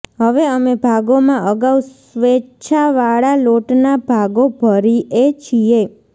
હવે અમે ભાગોમાં અગાઉ સ્વેચ્છાવાળા લોટના ભાગો ભરીએ છીએ